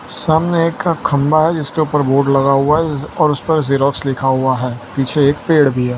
सामने एक खंबा है जिसके ऊपर बोर्ड लगा हुआ है और उस पर ज़िरोक्स लिखा हुआ है पीछे एक पेड़ भी है।